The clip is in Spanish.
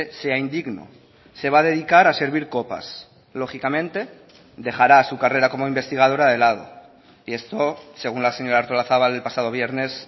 sea indigno se va a dedicar a servir copas lógicamente dejará su carrera como investigadora de lado y esto según la señora artolazabal el pasado viernes